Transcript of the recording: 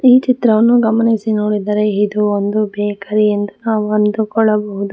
ಈ ಚಿತ್ರವನ್ನು ಗಮನಿಸಿ ನೋಡಿದರೆ ಇದು ಒಂದು ಬೇಕರಿ ಎಂದು ನಾವು ಅಂದುಕೊಳ್ಳಬಹುದು.